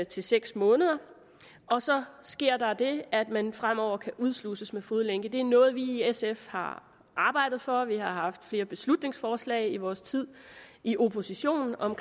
til seks måneder og så sker der det at man fremover kan udsluses med fodlænke det er noget vi i sf har arbejdet for vi har haft flere beslutningsforslag i vores tid i opposition om